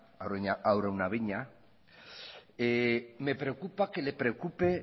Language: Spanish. araunabeña me preocupa que le preocupe